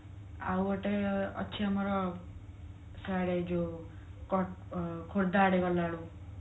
ଆଉ ଗୋଟେ ଅଛି ଆମର ସିଆଡେ ଯୋଉ ଖୋର୍ଦ୍ଧା ଆଡେ ଗଲା ବେଳକୁ